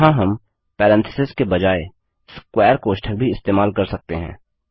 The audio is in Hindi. यहाँ हम पैरेंथेसिस के बजाय स्क्वेर कोष्ठक भी इस्तेमाल कर सकते हैं